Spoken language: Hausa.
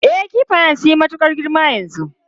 E, kifayan sun yi matukar girma yanzu.